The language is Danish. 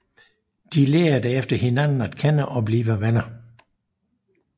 De lærer derefter hinanden at kende og bliver venner